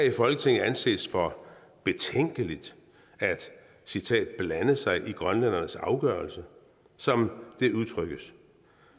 i folketinget anses det for betænkeligt at citat blande sig i grønlændernes afgørelse som det udtrykkes